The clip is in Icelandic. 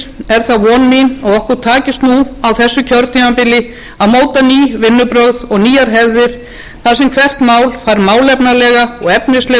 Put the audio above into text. er það von mín að okkur takist nú á þessu kjörtímabili að móta ný vinnubrögð og nýjar hefðir þar sem hvert mál fær málefnalega og efnislega umræðu og